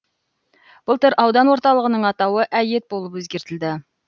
былтыр аудан орталығының атауы әйет болып өзгертілді